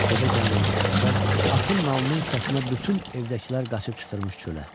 Evə gəlməmişdən əvvəl atın nalının səsinə bütün evdəkilər qaçıb çıxırmış çölə.